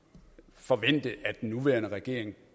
forvente at den nuværende regering